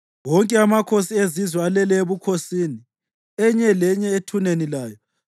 Wonke amakhosi ezizwe alele ebukhosini, enye lenye ethuneni layo.